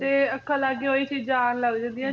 ਤੇ ਅੱਖਾਂ ਲਾਗੇ ਉਹੀ ਚੀਜਾਂ ਆਉਣ ਲੱਗ ਜਾਂਦੀਆਂ